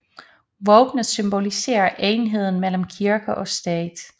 Våbnet symboliserer enheden mellem kirke og stat